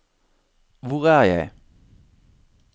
hvor er jeg